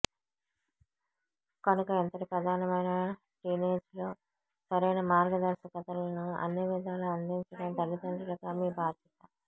కనుక ఇంతటి ప్రధానమైన టీనేజ్ లో సరైన మార్గదర్శకతలను అన్నివిధాలా అందించడం తల్లితండ్రులుగా మీ భాధ్యత